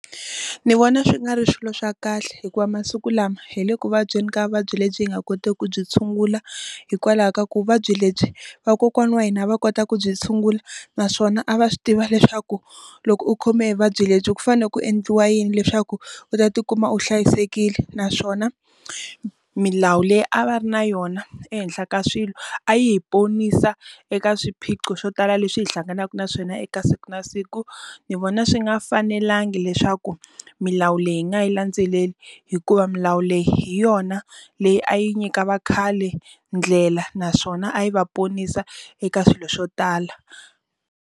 Ndzi vona swi nga ri swilo swa kahle hikuva masiku lama hi le vuvabyi ni ka vuvabyi lebyi nga kotiki ku byi tshungula. Hikwalaho ka ku vuvabyi lebyi, vakokwani wa hina a va kota ku byi tshungula naswona a va swi tiva leswaku loko u khome vuvabyi lebyi ku fanele ku endliwa yini leswaku u ta ti kuma u hlayisekile. Naswona milawu leyi a va ri na yona ehenhla ka swilo, a yi hi ponisa eka swiphiqo swo tala leswi hi hlanganaka na swona eka siku na siku. Ndzi vona swi nga fanelangi leswi ku milawu leyi nga yi landzeleli, hikuva milawu leyi hi yona leyi a yi nyika va khale ndlela naswona a yi va ponisa eka swilo swo tala.